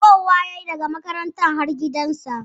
Daɓowa ya yi daka makaranta har gidansa